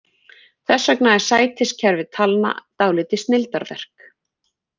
Þess vegna er sætiskerfi talna dálítið snilldarverk.